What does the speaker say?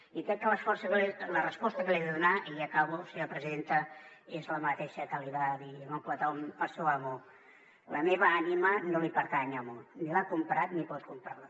i crec que la resposta que li he de donar i ja acabo senyora presidenta és la mateixa que li va dir l’oncle tom al seu amo la meva ànima no li pertany amo ni l’ha comprat ni pot comprar la